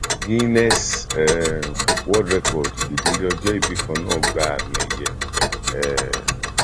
guinness um world record ìdílé ọjọ ibì kan náà gba àmì ẹyẹ um